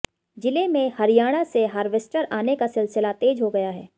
जिले में हरियाणा से हार्वेस्टर आने का सिलसिला तेज हो गया है